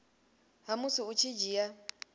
ha musi u tshi dzhia